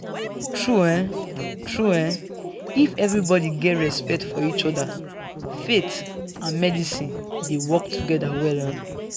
true um true um if everybody get respect for each other faith and medicine dey work together well um